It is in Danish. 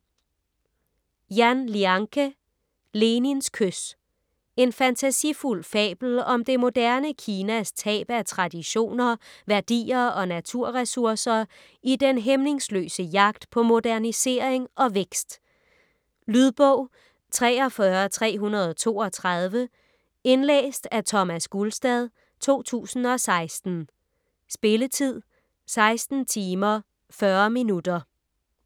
Yan, Lianke: Lenins kys En fantasifuld fabel om det moderne Kinas tab af traditioner, værdier og naturressourcer i den hæmningsløse jagt på modernisering og vækst. Lydbog 43332 Indlæst af Thomas Gulstad, 2016. Spilletid: 16 timer, 40 minutter.